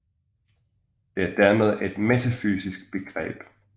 Det er dermed et metafysisk begreb